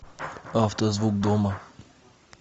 автозвук дома